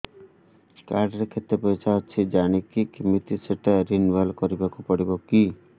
card ରେ କେତେ ପଇସା ଅଛି ଜାଣିବି କିମିତି ସେଟା ରିନୁଆଲ କରିବାକୁ ପଡ଼ିବ କି